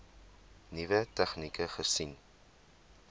nuwe tegnieke gesien